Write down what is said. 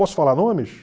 Posso falar nomes?